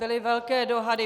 Byly velké dohady.